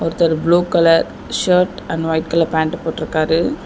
ஒருத்தர் blue colour shirt and white colour pant போட்ருக்காரு.